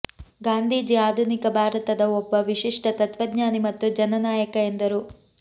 ಗಾಂಧೀಜಿ ಆಧುನಿಕ ಭಾರತದ ಒಬ್ಬ ವಿಶಿಷ್ಟ ತತ್ವಜ್ಞಾನಿ ಮತ್ತು ಜನನಾಯಕ ಎಂದರು